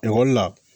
Ekɔli la